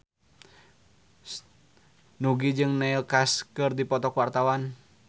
Nugie jeung Neil Casey keur dipoto ku wartawan